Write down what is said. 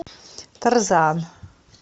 тарзан